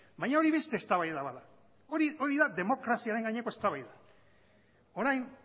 baina hori beste eztabaida bat da hori da demokraziaren gaineko eztabaida orain